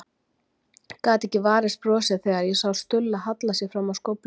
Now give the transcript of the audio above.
Gat ekki varist brosi þegar ég sá Stulla halla sér fram á skófluna.